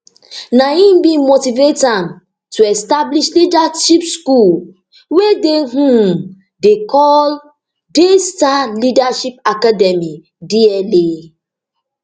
na im bin motivate am to establish leadership school wey dem um dey call daystar leadership academy dla